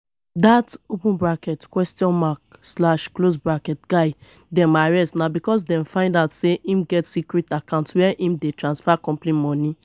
dat open bracket question mark slash close bracket guy dem arrest na because dem find out say im get secret account where im dey transfer company money